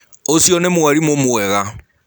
Ũcĩo nĩ mwarĩmũ mwega.